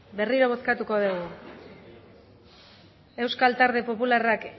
berriro bozkatuko dugu euskal talde